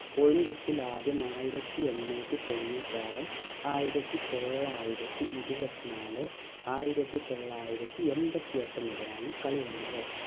olympics ഇൽ ആദ്യമായി ആയിരത്തി എണ്ണൂറ്റി തൊണ്ണൂറ്റി ആറ് ആയിരത്തി തൊള്ളായിരത്തി ഇരുപത്തി നാല് ആയിരത്തി തൊള്ളായിരത്തി എൺപത്തി എട്ടു മുതലാണ് കളി വന്നത്